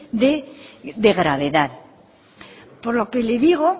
de gravedad por lo que le digo